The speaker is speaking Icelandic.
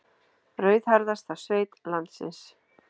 Rauðhærðasta sveit landsins